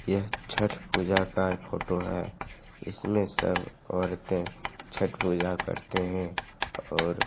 यह छठ पूजा का फोटो है इसमें सब औरतें छठ पूजा करते हैं और --